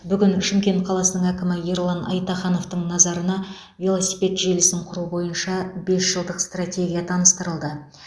бүгін шымкент қаласының әкімі ерлан айтахановтың назарына велосипед желісін құру бойынша бес жылдық стратегия таныстырылды